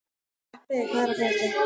Sveppi, hvað er að frétta?